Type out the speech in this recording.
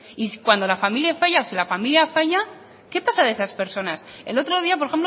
y cuando la familia falla o si la familia falla qué pasa de esas personas el otro día por